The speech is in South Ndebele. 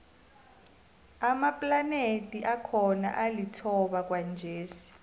amaplanethi akhona alithoba kwanjesi